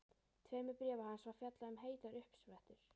tveimur bréfa hans er fjallað um heitar uppsprettur.